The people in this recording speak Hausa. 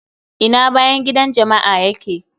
Ina bayan gidan jama'a ya ke?